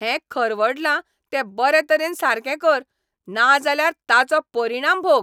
हें खरवडलां तें बरे तरेन सारके कर नाजाल्यार ताचो परिणाम भोग.